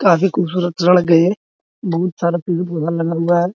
काफी खूबसूरत सड़के है बहुत सारा पेड़ लल-लगा है।